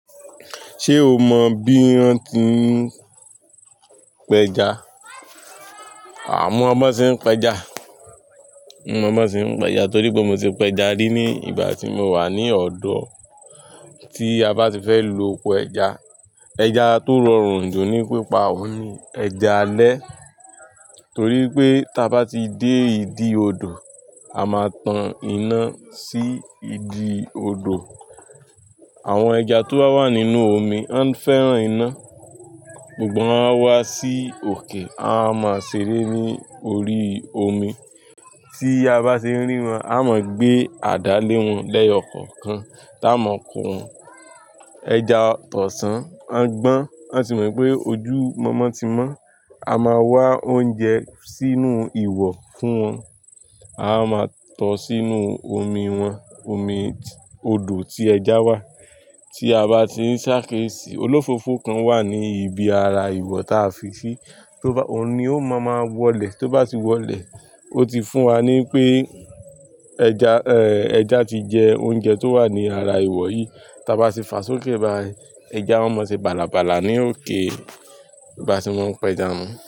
Ṣé o mọ bí won tí n p'ẹja? Àwọn bi won ṣe ń pẹja. Mo mo bi won ṣe ń pẹja torí pé mo ti pẹja rí ní ìgbà tí mo wà ní ọ̀dọ̀. Tí a bá ti fẹ́ lo ọkọ ẹja, ẹja tó rọrùn jù ní pípa òní ẹja alẹ́. Torí pé tí a bá ti dé ìdí odò, a máa tan iná sí ìdí odò. Àwọn ẹja tó wà nínú omi, wọ́n fẹ́ràn iná, gbogbo wọn á wá sí òkè, a máa ṣeré ní orí omi. Tí a bá ṣe rí wọn, a mọ gbé àdá lé wọn leyo ko kan. Tá a mọ ko wọn, ẹja tọ̀san maá gbọ́n. A sì mọ pé ojú mọmọ ti mọ́. A máa wá oúnjẹ sínú ìwọ̀ fún wọn. A máa tọ̀ọ́ sínú omi wọn, omi odò tí ẹja wà. Tí a bá ti ń ṣàkíṣi, olófofo kan wà ní ibi ara ìwọ̀ tá a fi sí, tó bá, òun ni ó máa máa wọlẹ̀. Tó bá ti wọlẹ̀, ó ti fún wa ní pé ẹja, ẹja ti jẹ oúnjẹ tó wà ní ara ìwọ̀ yìí. Ta bá ti fàá sókè bá ẹja, wọn máa ṣe bàlàbàlà ní òkè bà se mo ń pẹja wọn.